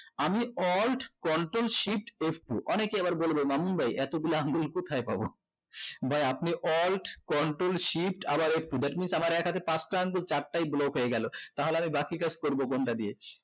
আমি alt control shift f two অনেকে আবার বলবে মামুণ্ডই এতগুলো আমি কোথায় পাবো ভাই আপনি alt control shift আবার একটু f two that means আমার এক হাতে পাঁচটা আগুল চারটায় block হয়ে গেলো তাহলে আমি বাকি কাজ করবো কোনটা দিয়ে